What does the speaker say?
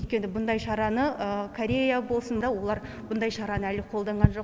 өйткені бұндай шараны корея болсын да олар бұндай шараны әлі қолданған жоқ